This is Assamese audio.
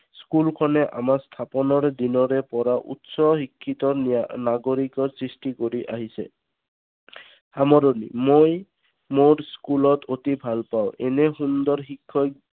school খনে আমাৰ স্থাপনৰ দিনৰে পৰা উচ্চ শিক্ষিত ন্যা নাগৰিক সৃষ্টি কৰি আহিছে। সামৰণি মই মোৰ school ত অতি ভাল পাওঁ এনে সুন্দৰ শিক্ষক